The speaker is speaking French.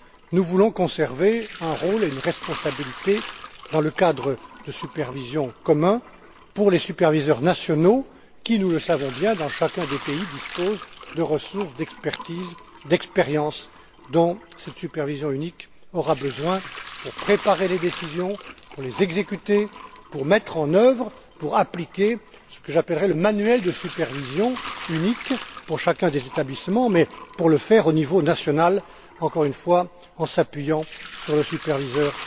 Nous voulons conserver un rôle et une responsabilité dans le cadre de supervision commun pour les superviseurs nationaux qui, nous le savons bien, disposent dans chacun des pays de ressources, d'expertises, d'expérience, dont cette supervision unique aura besoin pour préparer les décisions, pour les exécuter, ainsi que pour mettre en œuvre et pour appliquer ce que j'appellerai le manuel de supervision unique pour chacun des établissements, mais pour le faire au niveau national, encore une fois, en s'appuyant sur le superviseur